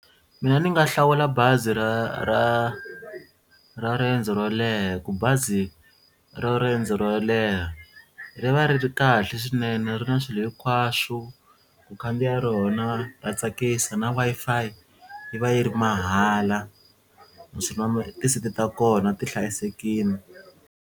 Mina ni nga hlawula bazi ra ra ra riendzo ro leha hi ku bazi ra riendzo ro leha ri va ri ri kahle swinene ri na swilo hinkwaswo ku khandziya rona ra tsakisa na Wi-Fi yi va yi ri mahala ti-seat ta kona ti hlayisekile.